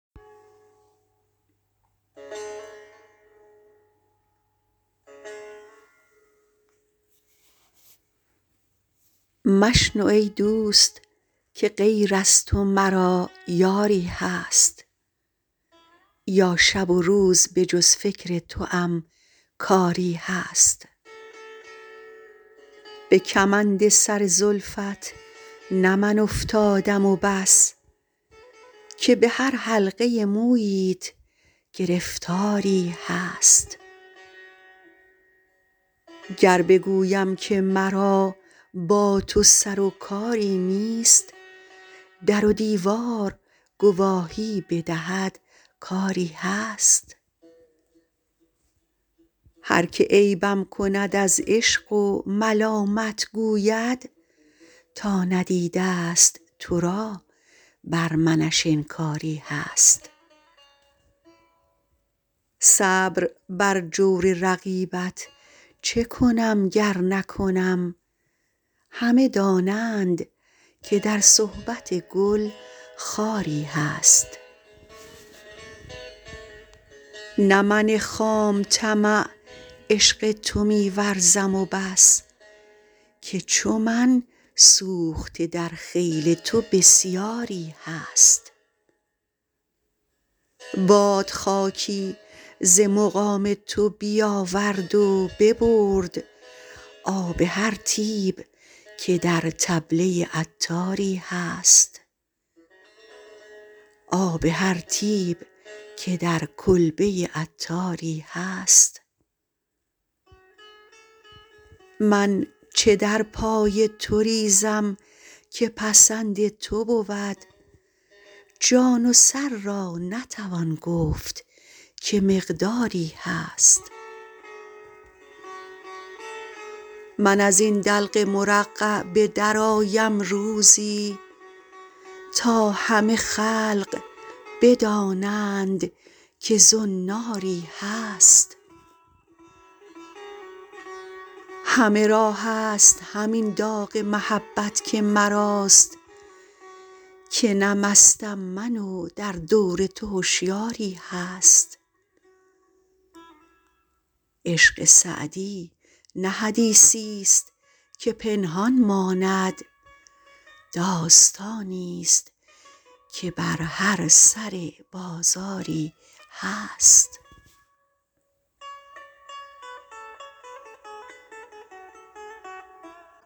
مشنو ای دوست که غیر از تو مرا یاری هست یا شب و روز به جز فکر توام کاری هست به کمند سر زلفت نه من افتادم و بس که به هر حلقه موییت گرفتاری هست گر بگویم که مرا با تو سر و کاری نیست در و دیوار گواهی بدهد کآری هست هر که عیبم کند از عشق و ملامت گوید تا ندیده است تو را بر منش انکاری هست صبر بر جور رقیبت چه کنم گر نکنم همه دانند که در صحبت گل خاری هست نه من خام طمع عشق تو می ورزم و بس که چو من سوخته در خیل تو بسیاری هست باد خاکی ز مقام تو بیاورد و ببرد آب هر طیب که در کلبه عطاری هست من چه در پای تو ریزم که پسند تو بود جان و سر را نتوان گفت که مقداری هست من از این دلق مرقع به درآیم روزی تا همه خلق بدانند که زناری هست همه را هست همین داغ محبت که مراست که نه مستم من و در دور تو هشیاری هست عشق سعدی نه حدیثی است که پنهان ماند داستانی است که بر هر سر بازاری هست